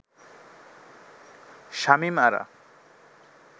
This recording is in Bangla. শামীম আরা